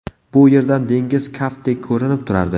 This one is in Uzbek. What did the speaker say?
Bu yerdan dengiz kaftdek ko‘rinib turardi.